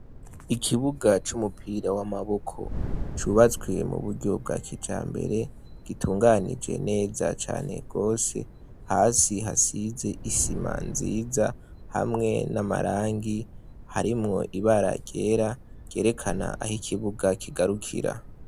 Ikibuga c'umupira w'amaboko cubatswe mu buryo bwa kijambere gitunganije neza cane gose hasi hasize isima nziza hamwe n'amarangi harimwo ibara ryera ryerekana aho ikibuga kigarukira.